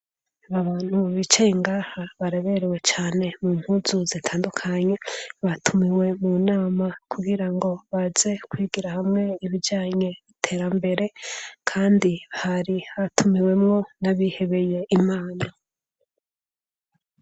babantu mu bice ingaha baraberewe cyane mu ntuzu zitandukanye batumiwe mu nama kugira ngo baze kwigira hamwe ibijyanye iterambere kandi hari hatumiwemo n'abihebeye imana